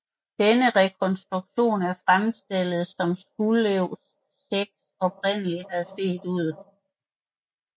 Denne rekonstruktion er fremstillet som Skuldelev 6 oprindeligt har set ud